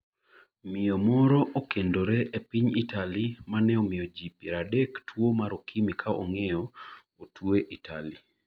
Miyo moro okendore kende e piny Italy .Ma ne omiyo ji piero adek tuo mar okimi ka ong'eyo, otwe Italy